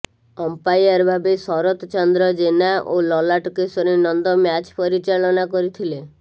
umpire ଭାବେ ଶରତ ଚନ୍ଦ୍ର ଜେନା ଓ Lalat Keshari Nanda match ପରିଚାଳନା କରିଥିଲେ